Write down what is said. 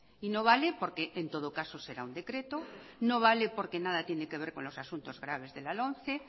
y no vale porque en todo caso será un decreto no vale porque nada tiene que ver con los asuntos graves de la lomce